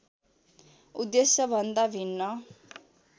उद्देश्य भन्दा भिन्न